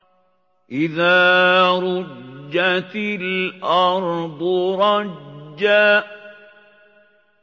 إِذَا رُجَّتِ الْأَرْضُ رَجًّا